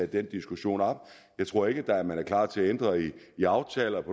den diskussion op jeg tror ikke man er klar til at ændre i aftaler